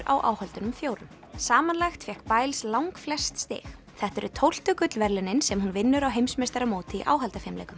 á áhöldunum fjórum samanlagt fékk langflest stig þetta eru tólftu gullverðlaunin sem hún vinnur á heimsmeistaramóti í